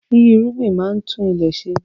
Yíyí irúgbìn máa ń tún ilẹ̀ ṣe